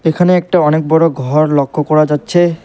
এখানে একটা অনেক বড় ঘর লক্ষ করা যাচ্ছে।